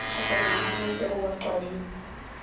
thokonyana ho maseru wa qwading